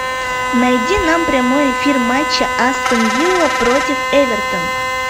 найди нам прямой эфир матча астон вилла против эвертон